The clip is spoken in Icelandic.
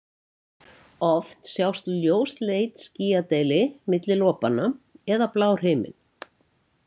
Oft sjást ljósleit skýjadeili milli lopanna eða blár himinn.